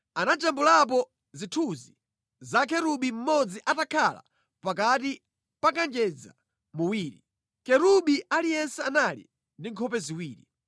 anajambulapo zithunzi za kerubi mmodzi atakhala pakati pa kanjedza muwiri. Kerubi aliyense anali ndi nkhope ziwiri: